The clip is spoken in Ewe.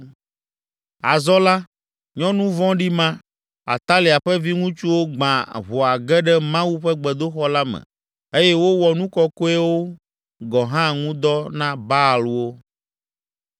Azɔ la, nyɔnu vɔ̃ɖi ma, Atalia ƒe viŋutsuwo gbã ʋɔa ge ɖe Mawu ƒe gbedoxɔ la me eye wowɔ nu kɔkɔeawo gɔ̃ hã ŋu dɔ na Baalwo.